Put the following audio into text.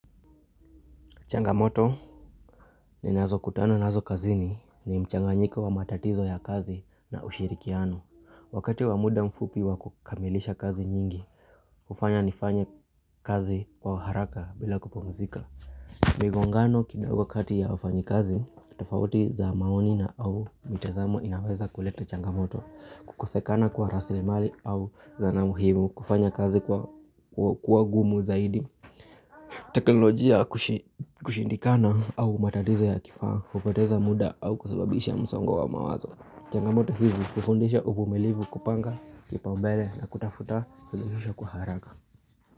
Changamoto ni nazo kutano nazo kazini ni mchanga njiko wa matatizo ya kazi na ushirikiano. Wakati wamuda mfupi wa kukamilisha kazi nyingi, ufanya nifanye kazi kwa haraka bila kupomzika. Migongano kina uwa kati ya ufanyi kazi, tefauti za maoni na au mitezamu inaweza kuleta changamoto. Kukosekana kwa rasile mali au zana muhimu kufanya kazi kwa kwa gumu zaidi. Teknolojia kushindikana au matadizo ya kifaa Ukoteza muda au kusababisha msaungo wa mawazo Changamoto hizi kufundisha upumelivu kupanga Kipambele na kutafuta sulihusha kuharaka.